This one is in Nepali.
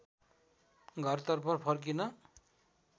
घरतर्फ फर्किन